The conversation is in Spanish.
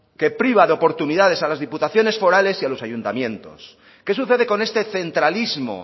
que priva de oportunidades a las diputaciones forales y a los ayuntamientos qué sucede con este centralismo